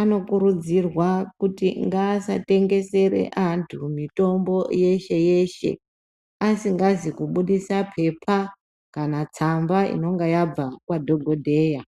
anokurudzirwa kuti ngaasatengesere antu mitombo yeshe-yeshe asingazi kubudisa pepa kana tsamba inonga yabva kwadhogodheya.